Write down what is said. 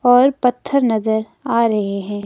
और पत्थर नजर आ रहे हैं।